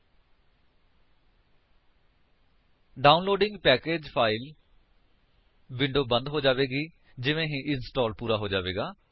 downloading package file downloading package file window ਬੰਦ ਹੋ ਜਾਵੇਗੀ ਜਿਵੇਂ ਹੀ ਇੰਸਟਾਲ ਪੂਰਾ ਹੋ ਜਾਵੇਗਾ